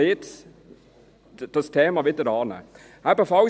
Jetzt sollte man sich dieses Themas wieder annehmen.